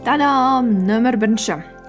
та дам нөмір бірінші